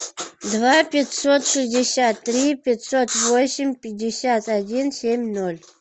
два пятьсот шестьдесят три пятьсот восемь пятьдесят один семь ноль